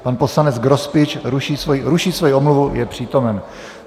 Pan poslanec Grospič ruší svoji omluvu, je přítomen.